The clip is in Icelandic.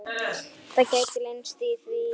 Það gætu leynst í því.